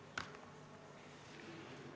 Istungi lõpp kell 15.59.